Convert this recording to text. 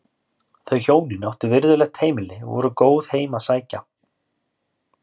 Þau hjónin áttu virðulegt heimili og voru góð heim að sækja.